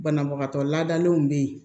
Banabagatɔ ladalenw bɛ yen